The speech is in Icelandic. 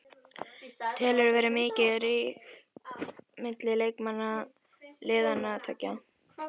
Telurðu vera mikinn ríg milli leikmanna liðanna tveggja?